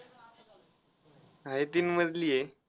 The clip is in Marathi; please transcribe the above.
आहे तीन मजली आहे.